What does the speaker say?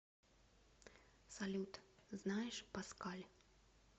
салют знаешь паскаль